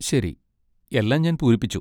ശരി. എല്ലാം ഞാൻ പൂരിപ്പിച്ചു.